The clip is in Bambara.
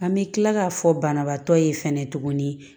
An bɛ kila k'a fɔ banabaatɔ ye fɛnɛ tuguni